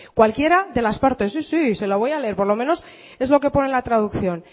cualquiera de las partes sí sí se la voy a leer por lo menos es lo que pone en la traducción